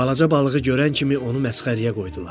Balaca balığı görən kimi onu məsxərəyə qoydular.